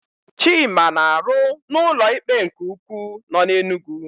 Chima na-arụ na ụlọikpe nke ukwu nọ n'Enugwu.